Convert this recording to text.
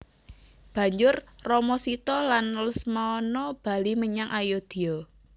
Banjur Rama Sita lan Lesmana bali menyang Ayodya